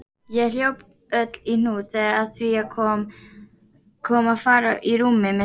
Ég hljóp öll í hnút þegar að því kom að fara í rúmið með Sveini.